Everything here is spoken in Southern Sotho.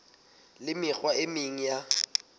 le mekgwa e meng ya